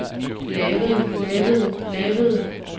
lavede lavede lavede